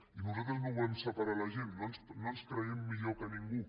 i nosaltres no volem separar la gent no ens creiem millors que ningú